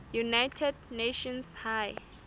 united nations high